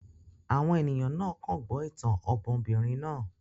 Àwọn ènìyàn kàn gbọ́ ìtàn ọmọbìnrin náà